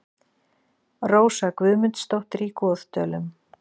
Rósa Guðmundsdóttir í Goðdölum